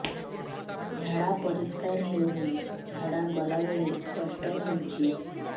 ଝାଡା ପରିସ୍କାର ହେଉନି ଝାଡ଼ା ଗଲା ବେଳେ କଷ୍ଟ ହେଉଚି